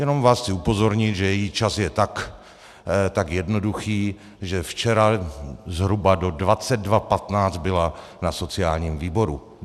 Jenom vás chci upozornit, že její čas je tak jednoduchý, že včera zhruba do 22.15 byla na sociálním výboru.